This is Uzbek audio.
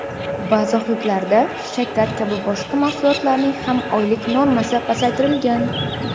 Ba’zi hududlarda shakar kabi boshqa mahsulotlarning ham oylik normasi pasaytirilgan.